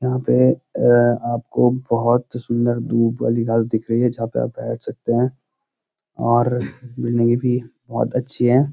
यहाँ पे ए आपको बहुत ही सुन्‍दर धूब वाली घास दिख रही है जहाँ पे आप बैठ सकते हैं और भी बहुत अच्‍छी हैं।